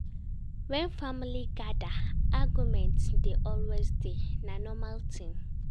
Wen family gada, argument dey always dey, na normal tin.